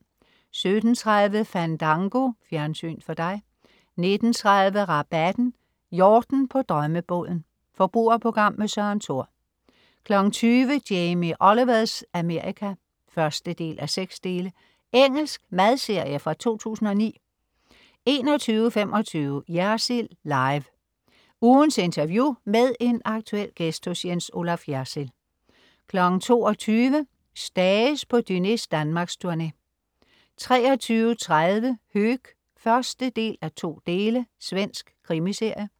17.30 Fandango. Fjernsyn for dig 19.30 Rabatten. Yachten på drømmebåden! Forbrugerprogram med Søren Thor 20.00 Jamie Olivers Amerika 1:6. Engelsk madserie fra 2009 21.25 Jersild Live. Ugens interview med en aktuel gæst hos Jens Olaf Jersild 22.00 Stages på Dúnés danmarksturné 23.30 Höök 1:2. Svensk krimiserie